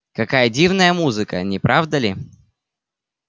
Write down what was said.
какая дивная музыка не правда ли